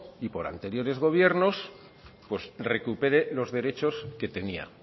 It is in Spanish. y por anteriores gobiernos recupere los derechos que tenía